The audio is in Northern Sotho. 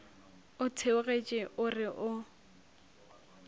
o theogetše o re o